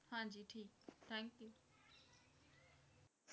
ਹਾਂਜੀ ਠੀਕ Thank you